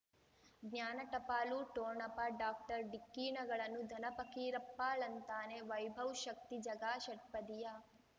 ಜ್ಞಾನ ಟಪಾಲು ಠೋಣಪ ಡಾಕ್ಟರ್ ಢಿಕ್ಕಿ ಣಗಳನು ಧನ ಫಕೀರಪ್ಪ ಳಂತಾನೆ ವೈಭವ್ ಶಕ್ತಿ ಝಗಾ ಷಟ್ಪದಿಯ